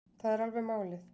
Það er alveg málið